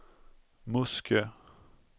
Muskö